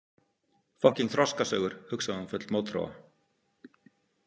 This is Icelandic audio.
Fokkíng þroskasögur, hugsaði hún full mótþróa.